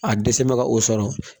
A dɛsɛ mɛ ka o sɔrɔ